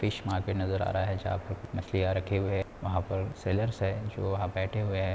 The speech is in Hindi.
फिश मार्केट नज़र आ रहा है जहाँ पर कुछ मछलियां रखे हुए है वहां पर सैलर्स है जो वहां बैठे हुए है।